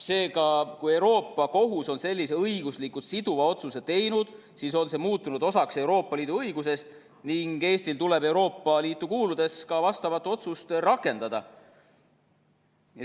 Seega, kui Euroopa Kohus on sellise õiguslikult siduva otsuse teinud, siis on see muutunud osaks Euroopa Liidu õigusest ning Eestil tuleb Euroopa Liitu kuuludes ka vastavat otsust rakendada.